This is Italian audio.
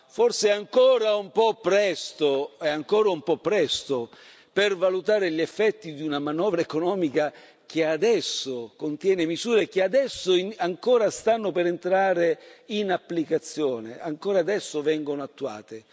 Forse è ancora un po' presto, è ancora un po' presto per valutare gli effetti di una manovra economica che adesso contiene misure, che adesso ancora stanno per entrare in applicazione, ancora adesso vengono attuate.